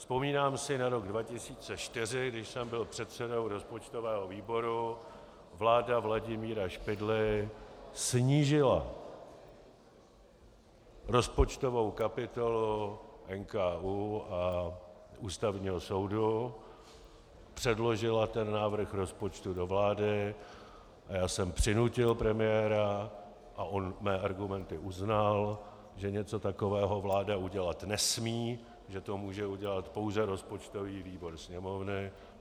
Vzpomínám si na rok 2004, když jsem byl předsedou rozpočtového výboru, vláda Vladimíra Špidly snížila rozpočtovou kapitolu NKÚ a Ústavního soudu, předložila ten návrh rozpočtu do vlády a já jsem přinutil premiéra, a on mé argumenty uznal, že něco takového vláda udělat nesmí, že to může udělat pouze rozpočtový výbor Sněmovny.